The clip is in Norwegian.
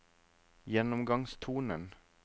gjennomgangstonen